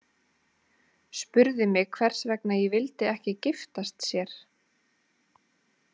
Spurði mig hvers vegna ég vildi ekki giftast sér.